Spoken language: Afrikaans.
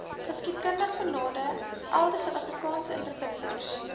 geskiedkundigbenadeelde suidafrikaanse entrepreneurs